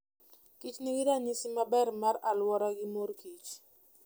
Kich nigi ranyisi maber mar aluora gi mor kich.